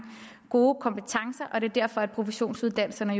gode kompetencer og det er derfor at professionsuddannelserne